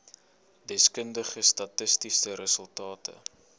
deskundige statistiese resultate